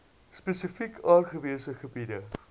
spesifiek aangewese gebiede